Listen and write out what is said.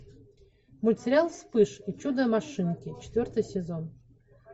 мультсериал вспыш и чудо машинки четвертый сезон